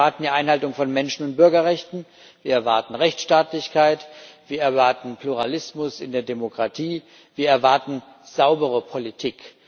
Wir erwarten die Einhaltung von Menschen und Bürgerrechten, wir erwarten Rechtstaatlichkeit, wir erwarten Pluralismus in der Demokratie, wir erwarten saubere Politik.